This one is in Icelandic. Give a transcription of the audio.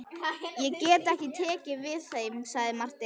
Ég get ekki tekið við þeim, sagði Marteinn.